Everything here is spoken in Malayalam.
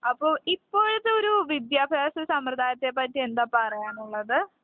അപ്പോ ഇപ്പോഴത്തെ ഒരു വിദ്യാഭ്യാസസമ്പ്രദായത്തെപ്പറ്റി എന്താ പറയാനുള്ളത്?